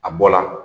A bɔ la